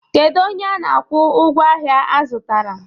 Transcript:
Kedu onye a na-akwụ ụgwọ ahịa azụtara?